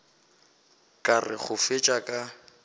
ka re go fetša ka